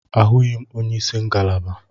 Ahụghị m onye isi ngalaba.